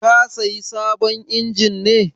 Ka sayi sabon injin ne?